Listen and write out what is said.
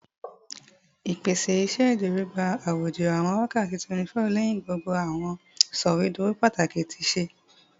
Ipese iṣeduro gba aijọju awọn wakati 24 lẹhin gbogbo awọn sọwedowo pataki ti ṣe